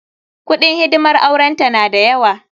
Kuɗin hidimar auren ta na da yawa.